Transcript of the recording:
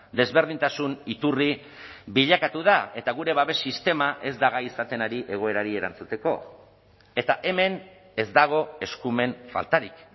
desberdintasun iturri bilakatu da eta gure babes sistema ez da gai izaten ari egoerari erantzuteko eta hemen ez dago eskumen faltarik